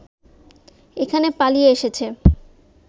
এখানে পালিয়ে এসেছে